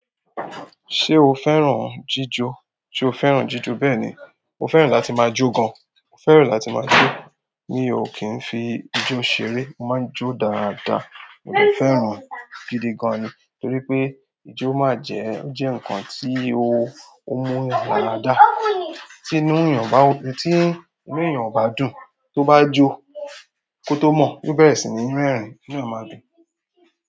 Ṣé o fẹ́ràn jíjọ? Sé o fẹ́ràn jíjọ? Bẹ́ẹ̀ ni, mo fẹ́ràn láti máa jó gan. Mo fẹ́ràn láti máa jó. Mi ò kí n fi ijó ṣeré. Mo máa ń jó dáadáa, mo dẹ̀ fẹ́ràn gidi gan ni. Torí pé ijó máa jẹ́, ó jẹ́ ǹkan tí ó mú àra dá. Tí nu èyàn bá, tí inú èyàn ò bá dùn, tó bajo, koto mon yi ó bẹ̀rẹ̀ sí ní reerin inú máa ma dùn.